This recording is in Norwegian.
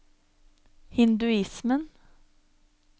hinduismen